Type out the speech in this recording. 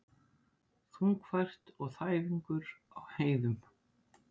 Þungfært og þæfingur á heiðum